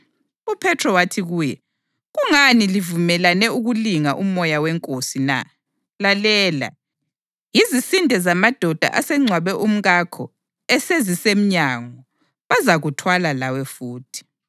UPhethro wathi kuye, “Kungani livumelane ukulinga uMoya weNkosi na? Lalela! Yizisinde zamadoda asengcwabe umkakho esezisemnyango, bazakuthwala lawe futhi.”